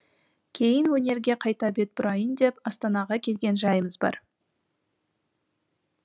кейін өнерге қайта бет бұрайын деп астанаға келген жайымыз бар